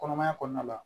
Kɔnɔmaya kɔnɔna la